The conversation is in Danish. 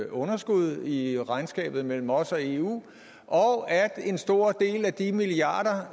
underskud i regnskabet mellem os og eu og at en stor del af de milliarder